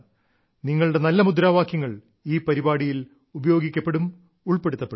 നിങ്ങളുടെ നല്ല മുദ്രാവാക്യങ്ങൾ ഈ പരിപാടിയിൽ ഉപയോഗിക്കപ്പെടും ഉൾപ്പെടുത്തപ്പെടും